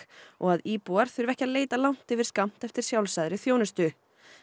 og að íbúar þurfi ekki að leita langt yfir skammt eftir sjálfsagðri þjónustu